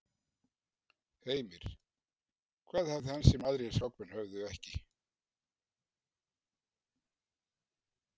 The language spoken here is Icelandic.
Heimir: Hvað hafði hann sem að aðrir skákmenn höfðu ekki?